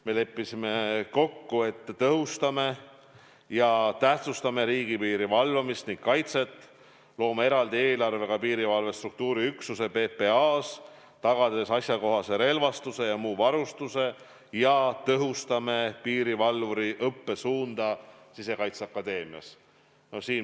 Me leppisime kokku, et tõhustame ja tähtsustame riigipiiri valvamist ning kaitset, loome eraldi eelarvega piirivalve struktuuriüksuse PPA-s, tagades asjakohase relvastuse ja muu varustuse, ja tõhustame piirivalvuri õppesuunda Sisekaitseakadeemias.